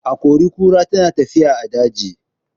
Akori-kura tana tafiya a daji.